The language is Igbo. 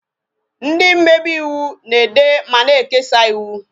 Ndị mmebe ịwụ na-ede ma na-ekesa ịwụ